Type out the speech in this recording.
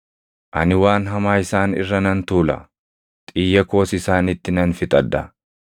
“Ani waan hamaa isaan irra nan tuula; xiyya koos isaanitti nan fixadha.